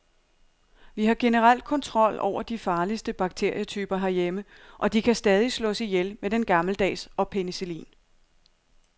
Vi har generelt kontrol over de farligste bakterietyper herhjemme, og de kan stadig slås ihjel med den gammeldags og penicillin.